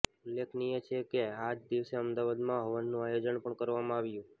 ઉલ્લેખનીય છે કે આ જ દિવસે અમદાવાદમાં હવનનું આયોજન પણ કરવામાં આવ્યું